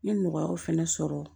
N ye nɔgɔyaw fɛnɛ sɔrɔ